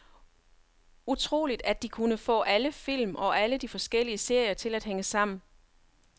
Utroligt at de kunne få alle film og alle de forskellige serier til at hænge sammen.